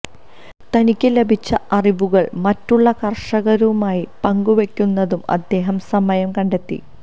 തനിക്ക് ലഭിച്ച അറിവുകള് മറ്റുള്ള കര്ഷകരുമായി പങ്കുവയ്ക്കുന്നതും അദ്ദേഹം സമയം കണ്ടെത്തി